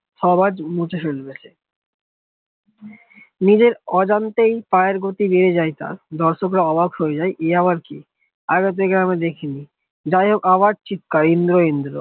আবাজ মুছে ফেলবে নিজের অজান্তেই পায়ের গতি বেড়ে যায় তার দর্শকরা অবাক হয়ে যাই ইয়াবার কি আগে থেকে আমি দেখিনি জায়হক আবার চিৎকার ইন্দ্র ইন্দ্র